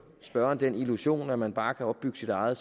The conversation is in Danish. spørgeren den illusion at man bare kan opbygge sit eget